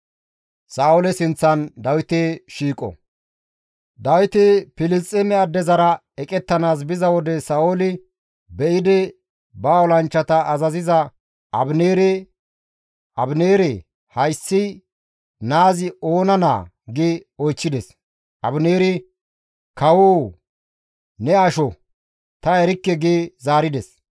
Dawiti Filisxeeme addezara eqettanaas biza wode Sa7ooli be7idi ba olanchchata azaziza Abineere, «Abineere, hayssi naazi oona naa?» gi oychchides. Abineeri, «Kawoo, ne asho; ta erikke» gi zaarides.